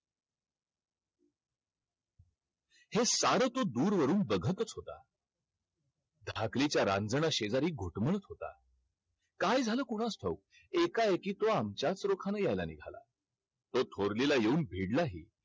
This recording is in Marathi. हे सारं तो दुरवरून बघतच होता. धाकलीच्या रांजनाशेजारी घुटमळत होता. काय झालं कुणास ठाऊक? एकाएकी तो आमच्याच रोखानं यायला निघाला. तो थोरलीला येऊन भिडलाही.